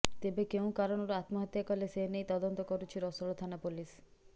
ତେବେ କେଉଁ କାରଣରୁ ଆତ୍ମହତ୍ୟା କଲେ ସେନେଇ ତଦନ୍ତ କରୁଛି ରାସୋଳ ଥାନା ପୋଲିସ